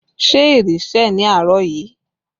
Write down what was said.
Ṣé ìrì sẹ̀ ní àárọ̀ yìí?